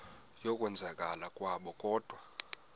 yokwenzakala kwabo kodwa